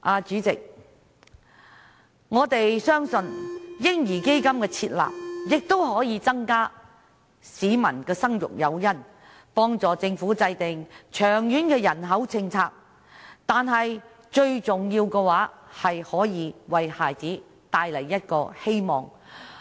主席，我們相信"嬰兒基金"的設立亦可增加市民的生育誘因，幫助政府制訂長遠的人口政策，但最重要的是為孩子帶來希望。